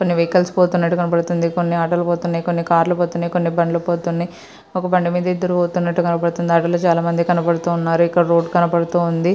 కొన్ని వెహికల్స్ పోతున్నట్టు కనబడుతుంది. కొన్ని ఆటోలు పోతున్నాయి. కొన్ని కార్లు కనబడుతున్నాయి. ఒక బండి మీద ఎదురు పోతున్నట్టు కనబడుతుంది. ఒక అడవి కనబడుతోంది. చెట్లు కనబడుతూ ఉన్నాయి.